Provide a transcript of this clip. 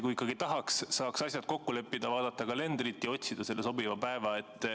Kui ikkagi tahaks, saaks asjad kokku leppida, vaadata kalendrit ja otsida selle sobiva päeva.